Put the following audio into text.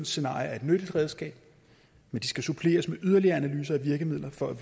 scenarie er et nyttigt redskab men det skal suppleres med yderligere analyser og virkemidler for at